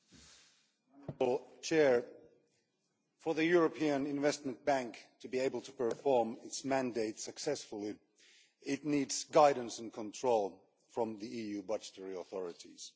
Madam President, for the European Investment Bank to be able to perform its mandate successfully it needs guidance and control from the EU budgetary authorities.